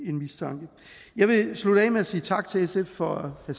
en mistanke jeg vil slutte af med at sige tak til sf for at